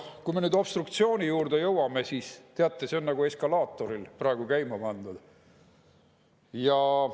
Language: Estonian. Kui me nüüd obstruktsiooni juurde jõuame, siis teate, see on nagu eskalaatoril praegu käima pandud.